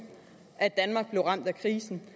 at danmark blev ramt af krisen